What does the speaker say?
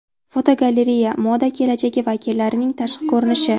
Fotogalereya: Moda kelajagi vakillarining tashqi ko‘rinishi.